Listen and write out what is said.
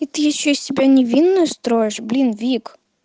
и ты что из себя ещё невинную строишь блин вик